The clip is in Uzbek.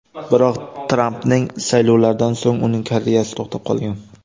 Biroq, Trampning saylovlaridan so‘ng uning karyerasi to‘xtab qolgan.